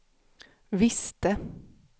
visste